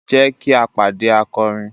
Jẹ ki a pade akọrin